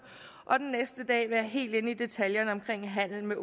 og den næste dag være helt inde i detaljerne med handel